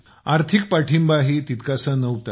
आर्थिक पाठिंबाही तितकासा नव्हता